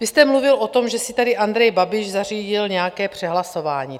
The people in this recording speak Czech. Vy jste mluvil o tom, že si tady Andrej Babiš zařídil nějaké přehlasování.